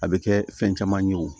A bɛ kɛ fɛn caman ye wo